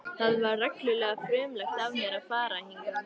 Það var reglulega frumlegt af mér að fara hingað.